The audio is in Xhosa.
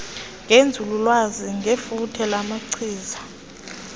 ngenzululwazi ngefuthe lamachiza